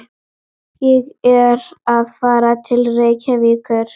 Ég verð að fara til Reykjavíkur!